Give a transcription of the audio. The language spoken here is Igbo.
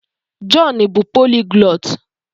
Jọn bụ poliglọt.